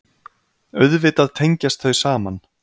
Auðvitað tengjast þau saman.